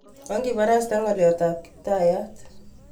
Okibarasten ngolyot tab kiptayat